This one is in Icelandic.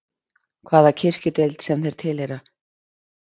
Hvaða kirkjudeild sem þeir tilheyra, skilur þú?